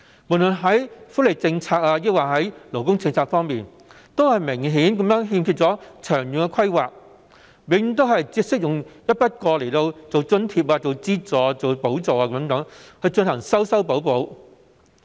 不論是福利政策或勞工政策，都明顯欠缺長遠的規劃，永遠只懂得用一筆過津貼、資助和補助等進行修修補補。